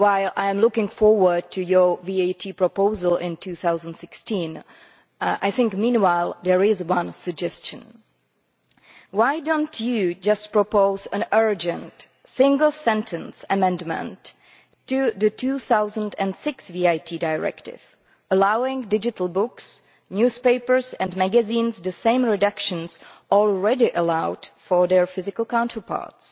I am looking forward to your VAT proposal in 2016, but meanwhile here is one suggestion why do you not propose an urgent single sentence amendment to the 2006 VAT Directive allowing digital books, newspapers and magazines the same reductions already allowed for their physical counterparts?